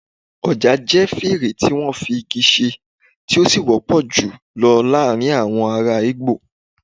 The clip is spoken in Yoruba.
ojà jẹ fèrè tí wọ́n fi igi ṣe, tí ó sì wọ́pọ̀ jù lọ láàárín àwọn ará igbó